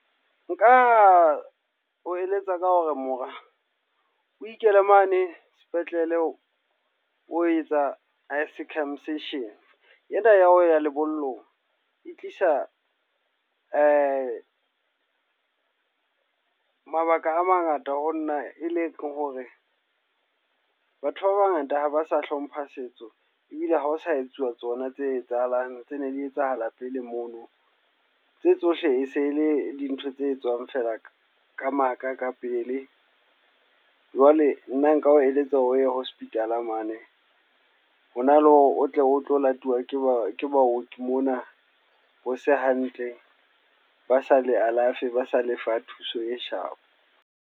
Nka o eletsa ka hore mora, o inkele mane sepetlele o etsa circumsision. Ena ya ho ya lebollong e tlisa mabaka a mangata ho nna. E leng hore batho ba bangata ha ba sa hlompha setso ebile ha o sa etsuwa tsona tse etsahalang, tse ne di etsahala pele mono. Tse tsohle e se le dintho tse etswang fela ka ka maka ka pele. Jwale nna nka o eletsa o ye hospital mane. Hona le hore o tle o tlo latuwa ke ba ke baoki mona, ho se hantle. Ba sa le alafe, ba sa lefa thuso e sharp.